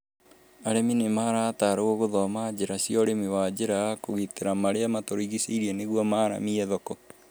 Arĩmi nĩ marataarũo guthoma njira cia Ũrĩmi wa njĩra ya kũgitĩra marĩa matũrigicĩirie nĩguo maramie thoko